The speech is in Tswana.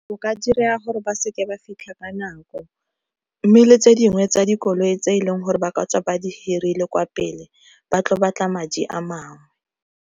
O ka dira gore ba seke ba fitlha ka nako, mme le tse dingwe tsa dikoloi tse e leng gore ba ka tswa ba di hirile kwa pele ba tlo batla madi a mangwe.